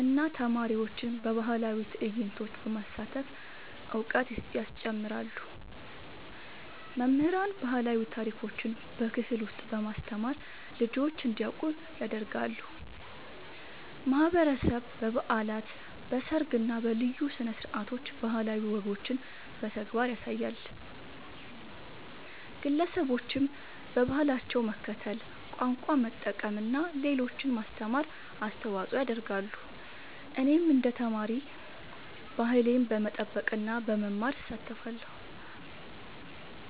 እና ተማሪዎችን በባህላዊ ትዕይንቶች በማሳተፍ እውቀት ያስጨምራሉ። መምህራን ባህላዊ ታሪኮችን በክፍል ውስጥ በማስተማር ልጆች እንዲያውቁ ያደርጋሉ። ማህበረሰብ በበዓላት፣ በሰርግ እና በልዩ ስነ-ስርዓቶች ባህላዊ ወጎችን በተግባር ያሳያል። ግለሰቦችም በባህላቸው መከተል፣ ቋንቋ መጠቀም እና ለሌሎች ማስተማር አስተዋጽኦ ያደርጋሉ። እኔም እንደ ተማሪ ባህሌን በመጠበቅ እና በመማር እሳተፋለሁ።